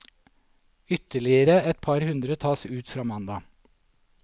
Ytterligere et par hundre tas ut fra mandag.